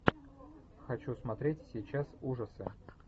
хочу смотреть сейчас ужасы